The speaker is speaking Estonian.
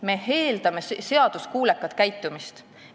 Me eeldame seaduskuulekat käitumist.